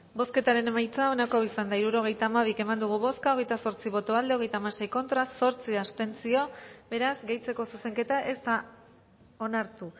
bozketaren emaitza onako izan da hirurogeita hamabi eman dugu bozka hogeita zortzi boto aldekoa hogeita hamasei contra zortzi abstentzio beraz gehitzeko zuzenketa ez da onartu